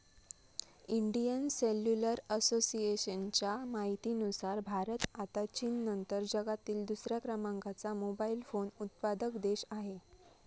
Indian cellular असोसिएशनच्या माहितीनुसार भारत आता चीननंतर जगातील दुसऱ्या क्रमांकाचा मोबाइल फोन उत्पादक देश आहे.